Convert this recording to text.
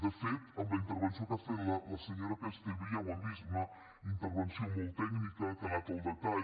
de fet amb la intervenció que ha fet la senyora castellví ja ho hem vist una intervenció molt tècnica que ha anat al detall